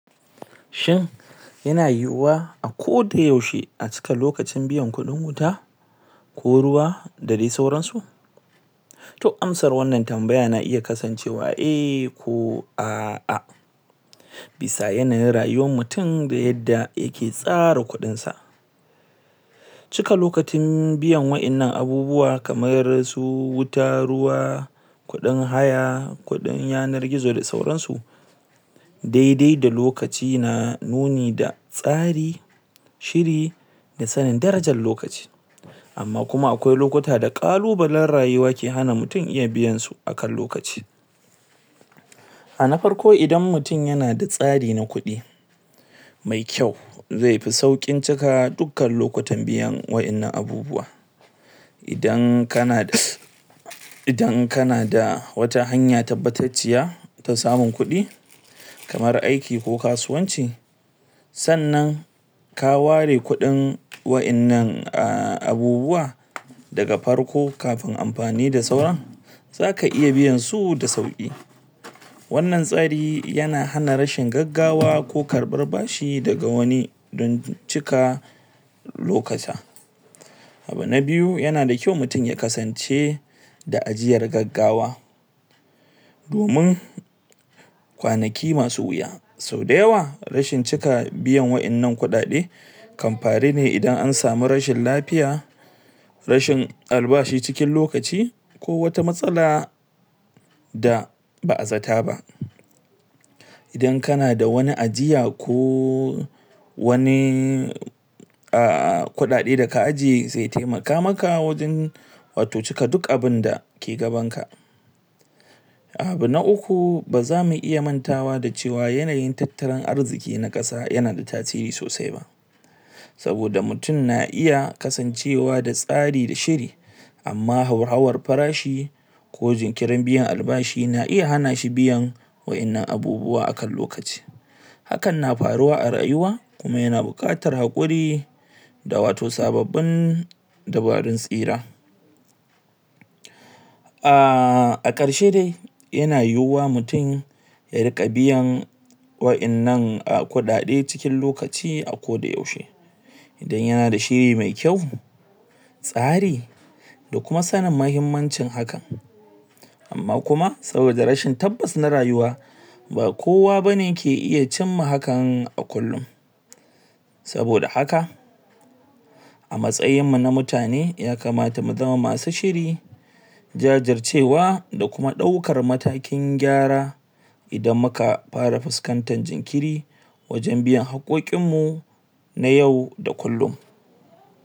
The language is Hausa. shin yana yiwuwa a koda yaushe a cika lokacin biyan kudin wuta ko ruwa da dai sauran su to amsar wannan tambaya na iya kasancewa eh ko a'a bisa yanayin rayuwar mutum da yadda yake tsara kudinsa cika lokacin biyan wadannan abubuwan kamar su wuta ruwa kudin haya kudin yanar gizo da sauran su daidai da lokaci na nuni da tsari shiri da sanin darajar lokaci amma kuma akwai lokuta da kalubalan rayuwa ke hana mutum iya biyan su akan lokaci a na farko idan mutum yana da tsari na kudi mai kyau zai fi saukin cika biyan dukkan wadannan abubuwa idan kana da idan kana da wata hanya tabbatacciya ta samun kudi kamar aiki ko kasuwanci sannan ka ware kudin wannann abubuwa zdaga farko kafin afani da sauran zaka iya biyan su da suki wannan tsarin yana hana rashin gaggawa ko karabar bashi daga wani don cika lokuta abu na biyu yana da kyau mutum ya kasance daajiyar gaggawa domin kwanaki masu wuya sau da yawa rashin cika biya wadannan kudade kan faru ne idan an samu rashin lafiya rashin albashi cikin lokaci ko wata matsala da ba'a zata ba idan kana da wani ajiya ko wani ah kudade daka aje zai taimaka maka wajen wato cika duk abinda ke gaban ka abu na ukku bazamu iya mantawa da cewa yanayin tattalin arziki na kasa yana da tasiri sosai saboda mutum yana iya kasancewa da tsari da shiri amma hauhawar farashi ko jinkirin biyan albashi na iya hana shi biyan wadannan abubuwa akan lokaci hakan na faruwa a rayuwa kuma yana bukatar hakuri da wato sababbin dabarun tsira ah akarshe dai yana yiwuwa mutum ya rinka biyan wadannan kudade cikin lokaci a koda yaushe don yana da shi mai kyau tsari da kuma sannin muhimmancin haka amma kuma saboda rashin tabbas na rayuwa ba kowa bane ke iya cimma hakan a kukkun saboda haka a matsayin mu na mutane ya kamata mu zama masu shiri jajircewa da kuma dauka matakin gyara idan muka fara fuskantar jinkiri wajen biyan hakokoin mu na yau da kullum